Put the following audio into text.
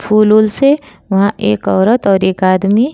फूल उल से वहां एक औरत और एक आदमी --